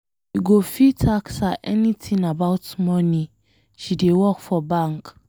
You go fit ask her anything about money, she dey work for bank.